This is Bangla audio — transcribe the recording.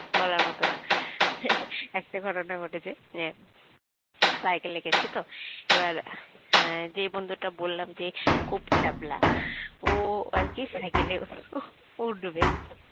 বলার মত না একটা ঘটনা ঘটেছে যে cycle গেছি তো এবার যে বন্ধুটা বললাম যে খুব ছ্যাবলা ও আর কি সাইকেলে উঠবে